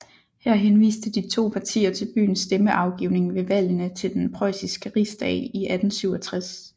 Her henviste de to partier til byens stemmeafgivning ved valgene til den preussiske Rigsdag i 1867